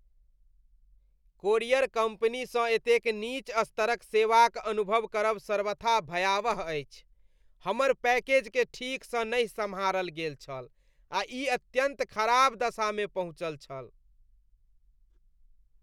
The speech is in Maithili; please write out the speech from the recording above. कोरियर कम्पनीसँ एतेक नीच स्तरक सेवाक अनुभव करब सर्वथा भयावह अछि। हमर पैकेजकेँ ठीकसँ नहि सम्हारल गेल छल आ ई अत्यन्त खराब दशामे पहुँचल छल।